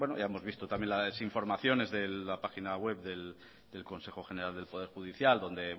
ya hemos visto también las informaciones de la página web del consejo general del poder judicial